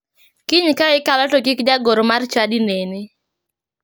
Kiny ka ikalo to kik jagoro mar chadi neni.